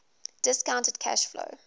discounted cash flow